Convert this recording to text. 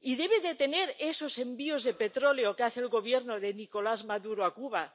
y que se detengan esos envíos de petróleo que hace el Gobierno de Nicolás Maduro a Cuba.